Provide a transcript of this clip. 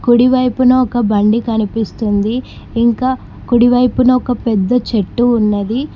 కుడి వైపున ఒక బండి కనిపిస్తుంది ఇంకా కుడి వైపున ఒక పెద్ద చెట్టు ఉన్నది.